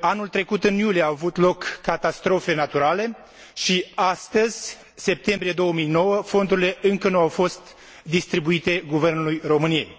anul trecut în iunie au avut loc catastrofe naturale și astăzi, în septembrie 2009, fondurile încă nu au fost distribuite Guvernului României.